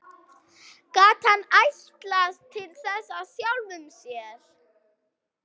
Gat hann ætlast til þess af sjálfum sér?